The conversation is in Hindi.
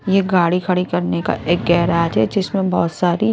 ये गाड़ी खड़ी करने का एक गेराज है जिसमें बहोत सारी--